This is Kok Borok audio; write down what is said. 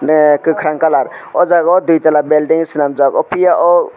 ah kokarang colour o jaga o dui tala belding selamjak o piya o.